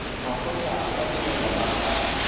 makgotla a badirelwa ba ka